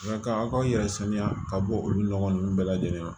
Nka ka aw ka aw yɛrɛ sanuya ka bɔ olu nɔgɔ ninnu bɛɛ lajɛlen ma